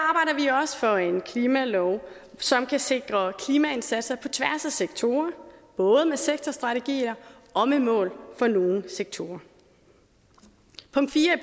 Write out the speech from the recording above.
og for en klimalov som kan sikre klimaindsatser på tværs af sektorer både med sektorstrategier og med mål for nogle sektorer punkt fire i